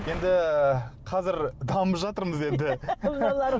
енді қазір дамып жатырмыз енді